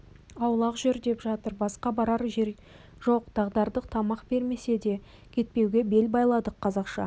аулақ жүр деп жатыр басқа барар жер жоқ дағдардық тамақ бермесе де кетпеуге бел байладық қазақша